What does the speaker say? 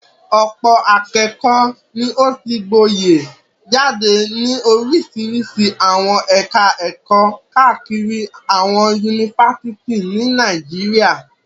Ọ̀pọ̀ akẹ́kọ̀ọ́ ni ó ti gboyè jáde ní oríṣiríṣi àwọn ẹ̀ka-ẹ̀kọ́ káàkiri àwọn yunifásitì ní Nàìjíríà.